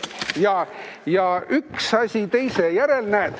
Nii, üks asi teise järel.